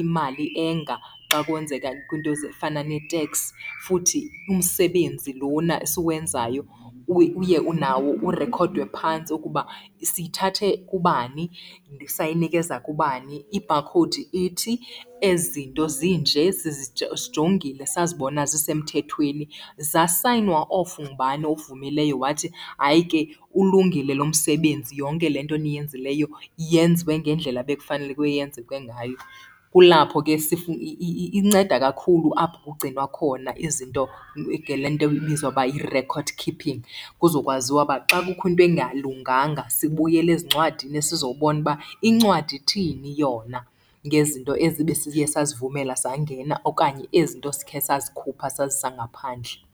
imali enga xa kwenzeka kwiinto ezifana neteks. Futhi umsebenzi lona esiwenzayo uye nawo urekhodwe phantsi ukuba siyithathe kubani sayinikeza kubani. I-barcode ithi, ezi zinto zinje sazibona zisemthethweni, zasayinwa off, ngubani ovumileyo wathi hayi ke ulungile lo msebenzi, yonke le nto niyenzileyo yenziwe ngendlela ebekufaneleke yenzeke ngayo. Kulapho ke inceda kakhulu, apho kugcinwa khona izinto ngale nto ibizwa uba yi-record keeping, kuzokwaziwa uba xa kukho into engalunganga sibuyele ezincwadini sizobona uba incwadi ithini yona ngezinto ezi besiye sazivumela zangena okanye ezi nto sikhe sazikhupha sazisa ngaphandle.